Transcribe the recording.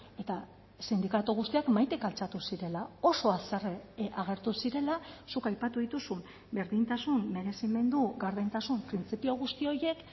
eta sindikatu guztiak mahaitik altxatu zirela oso haserre agertu zirela zuk aipatu dituzun berdintasun merezimendu gardentasun printzipio guzti horiek